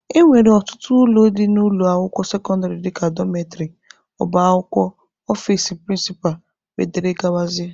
E nwere ọtụtụ ụlọ dị n'ụlọ akwụkwọ sekọndịrị dika Dọmetrị, ọba akwụkwọ, ọfici prịncịpa wdg.